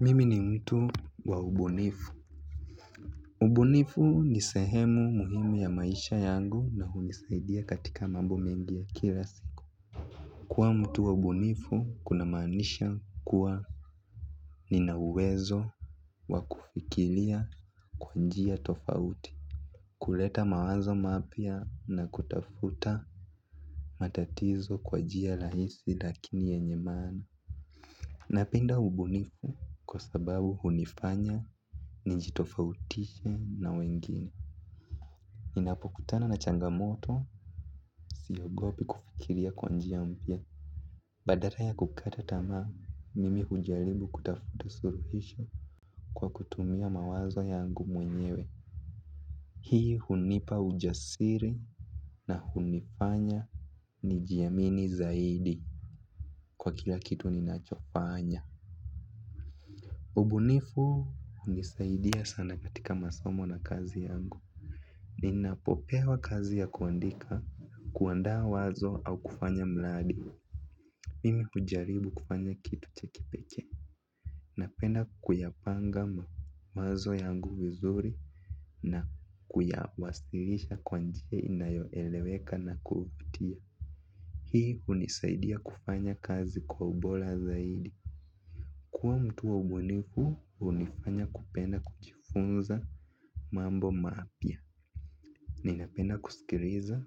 Mimi ni mtu wa ubunifu. Ubunifu ni sehemu muhimu ya maisha yangu na hunisaidia katika mambo mengi ya kila siku. Kuwa mtu wa ubunifu kunamanisha kuwa nina uwezo wa kufikilia kwa njia tofauti. Kuleta mawazo mapya na kutafuta matatizo kwa jia lahisi lakini yenye maana. Napenda ubunifu kwa sababu unifanya nijitofautishe na wengine. Ninapokutana na changamoto siogopi kufikiria kwa njia mpya. Badara ya kukata tamaa mimi hujalibu kutafuta suruhisho kwa kutumia mawazo yangu mwenyewe. Hii hunipa ujasiri na hunifanya nijiamini zaidi kwa kila kitu ninachofanya. Ubunifu hunisaidia sana katika masomo na kazi yangu. Ninapopewa kazi ya kuandika kuandaa wazo au kufanya mladi mimi ujaribu kufanya kitu cha kipekee. Napenda kuyapanga mawazo yangu vizuri na kuyawasilisha kwa njia inayoeleweka na kuvutia. Hii unisaidia kufanya kazi kwa ubola zaidi. Kuwa mtu wa ubunifu hunifanya kupenda kujifunza mambo maapya. Ninapenda kusikiriza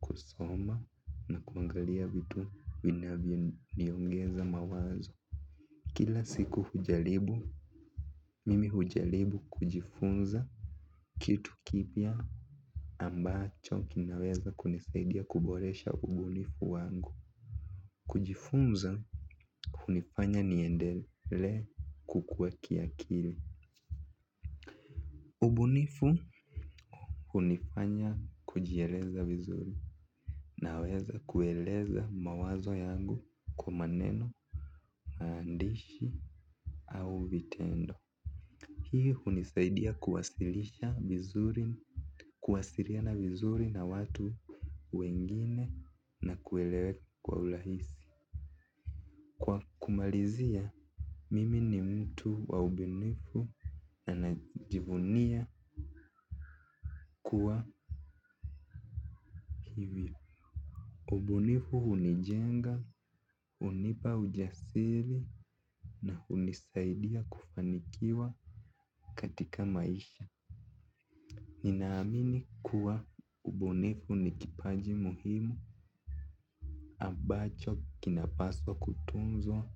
kusoma na kuangalia vitu vinavyoniongeza mawazo. Kila siku mimi hujalibu kujifunza kitu kipya ambacho kinaweza kunisaidia kuboresha ubunifu wangu. Kujifunza, unifanya niendele kukuwa kiakili. Ubunifu, hunifanya kujieleza vizuri. Naweza kueleza mawazo yangu kwa maneno maandishi au vitendo. Hii hunisaidia kuwasilisha vizuri. Kuwasiriana vizuri na watu wengine na kueleweka kwa ulahisi. Kwa kumalizia, mimi ni mtu wa ubunifu na najivunia kuwa hivyo. Ubunifu unijenga, unipa ujasiri na unisaidia kufanikiwa katika maisha. Ninaamini kuwa ubunifu ni kipaji muhimu ambacho kinapaswa kutunzwa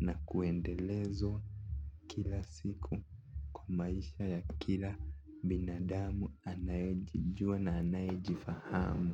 na kuendelezwa kila siku kwa maisha ya kila binadamu anayejijua na anaye jifahamu.